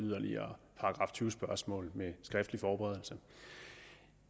yderligere § tyve spørgsmål med skriftlig forberedelse